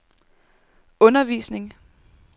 undervisning